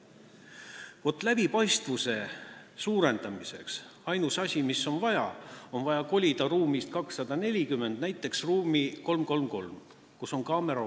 Vaat ainus asi, mida on vaja läbipaistvuse suurendamiseks, on see, et on vaja kolida ruumist 240 näiteks ruumi 333, kus on olemas kaamera.